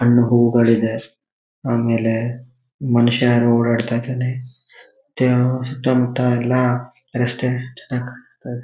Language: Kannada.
ಹಣ್ಣು ಹೂಗಳಿದೆ. ಆಮೇಲೆ ಮನುಷ್ಯ ಯಾರೋ ಓಡಾಡ್ತಾ ಇದಾನೆ. ತ್ಯ ಸುತ್ತಮುತ್ತಎಲ್ಲಾ --